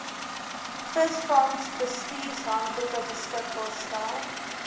visvangsbestuurshandboeke beskikbaar stel